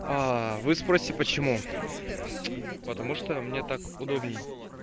а вы спросите почему потому что мне так удобней